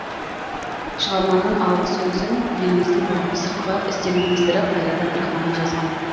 шығарманың алғы сөзін еліміздің бұрынғы сыртқы істер министрі қайрат әбдірахманов жазған